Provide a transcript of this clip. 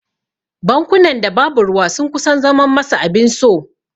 Bankunan da babu ruwa sun kusan zaman masa abin so.